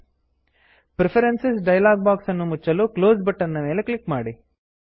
preferences preferences dialogue box ಅನ್ನು ಮುಚ್ಚಲು close close button ಮೇಲೆ ಕ್ಲಿಕ್ ಮಾಡಿ